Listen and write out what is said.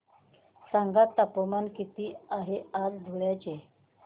सांगा तापमान किती आहे आज धुळ्याचे